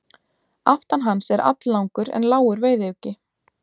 Aftan hans er alllangur en lágur veiðiuggi.